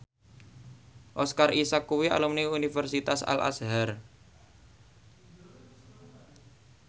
Oscar Isaac kuwi alumni Universitas Al Azhar